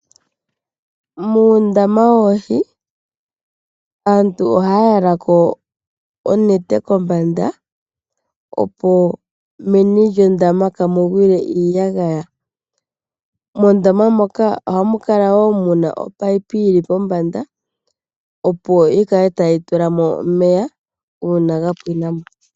Muundama woohi aantu ohaya tulako oonete kombanda, opo meni lyondama kamugwile iiyagaya. Ohamu kala wo omunino guli kombanda gukale tagu tulamo omeya uuna gapwinamo.